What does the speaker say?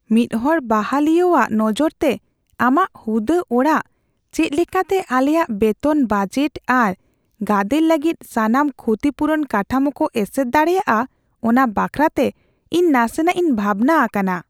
ᱢᱤᱫᱦᱚᱲ ᱵᱟᱦᱟᱞᱤᱭᱟᱹᱣᱟᱜ ᱱᱚᱡᱚᱨᱛᱮ, ᱟᱢᱟᱜ ᱦᱩᱫᱟᱹ ᱟᱲᱟᱜ ᱪᱮᱫ ᱞᱮᱠᱟᱛᱮ ᱟᱞᱮᱭᱟᱜ ᱵᱮᱛᱚᱱ ᱵᱟᱡᱮᱴ ᱟᱨ ᱜᱟᱫᱮᱞ ᱞᱟᱹᱜᱤᱫ ᱥᱟᱱᱟᱢ ᱠᱷᱩᱛᱤ ᱯᱩᱨᱩᱱ ᱠᱟᱴᱷᱟᱢᱳ ᱠᱚ ᱮᱥᱮᱨ ᱫᱟᱲᱮᱭᱟᱜᱼᱟ ᱚᱱᱟ ᱵᱟᱠᱷᱨᱟᱛᱮ ᱤᱧ ᱱᱟᱥᱮᱱᱟᱜᱼᱤᱧ ᱵᱷᱟᱵᱽᱱᱟ ᱟᱠᱟᱱᱟ ᱾